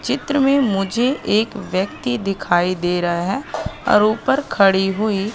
चित्र में मुझे एक व्यक्ति दिखाई दे रहा है और ऊपर खड़ी हुई--